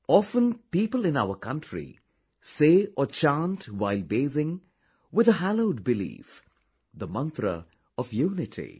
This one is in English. Often people in our country say or chant while bathing with a hallowed belief, the mantra of unity